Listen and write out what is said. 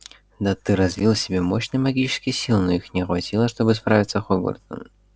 да ты развил в себе мощные магические силы но их не хватило чтобы справиться с хогвартсом